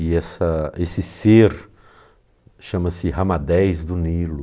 E essa esse ser chama-se Ramadés do Nilo.